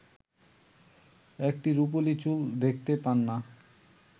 একটি রুপোলি চুল দেখতে পান না